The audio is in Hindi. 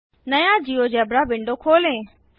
नया जियोजेब्रा विंडो खोलें